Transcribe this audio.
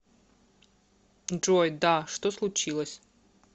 джой да что случилось